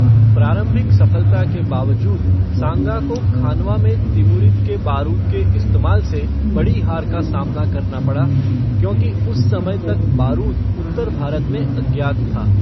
प्रारंभिक सफलता के बावजूद सांगा को खानवा में तिमुरिद के बारूद के इस्तेमाल से बड़ी हार का सामना करना पड़ा, क्योंकि उस समय तक बारूद उत्तर भारत में अज्ञात था।